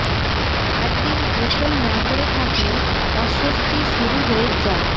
একদিন গোসল না করে থাকলেই অস্বস্তি শুরু হয়ে যায়